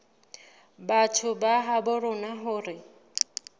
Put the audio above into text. batho ba habo rona hore